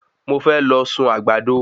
Mo fẹ́ lọ sun àgbàdo